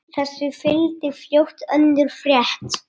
Þessu fylgdi fljótt önnur frétt